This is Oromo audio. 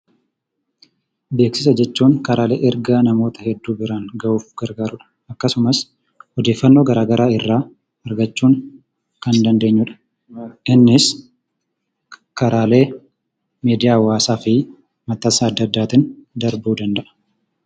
Beeksisa jechuun karaalee ergaa namoota hedduu biraan gahuuf gargaarudha . Akkasumas odeeffannoo garagaraa irraa argachuun kan danndeenyudha. Innis karaalee miidiyaa hawaasaafi maxxansa adda addaatiin darbuu danda'a